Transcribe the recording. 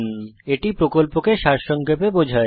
এটি প্রকল্পকে সারসংক্ষেপে বোঝায়